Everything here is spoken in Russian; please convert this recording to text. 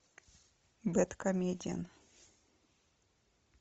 бэдкомедиан